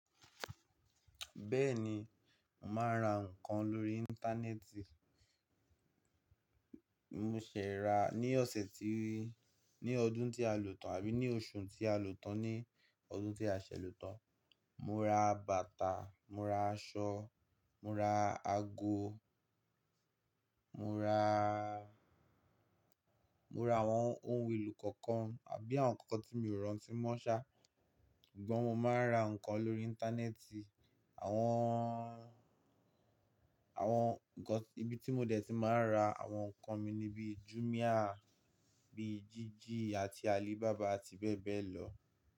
Bẹ́ẹ̀ni, màá n ra ǹkan lórí Íńtánẹ́ẹ̀tì. Mo ṣẹ̀ ra ní ọ̀sẹ̀ tíí, ní ọdún tí a lòtàn àbí ní oṣù tí a lòtàn ní ọdún tí a ṣẹ̀ lòtàn. Mo ra bàtà, mo ra aṣọ, mo ra ago, mo ra, mo ra àwọn ohun èlò kọ̀ọ̀kan àbí àwọn ǹkan tí mi ò rántí mọ́ ṣá. Sugbon mo máa ń ra ǹkan lórí Íńtánẹ́ẹ̀tì. Àwọn, àwọn ibi tí mo dẹ̀ tí máa ń ra àwọn ǹkan mi ni bíi Jumia, bíi Jiji àti Alibaba àti bẹ́ẹ̀ bẹ́ẹ̀ lọ.